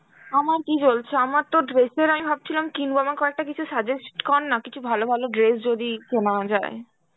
আমার কি চলছে, আমার তো dress এর আমি ভাবছিলাম কিনব, আমাকে কয়েকটা কিছু suggest করনা কিছু ভালো ভালো dress যদি কেনা যায়.